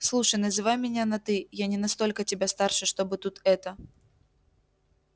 слушай называй меня на ты я не настолько тебя старше чтобы тут это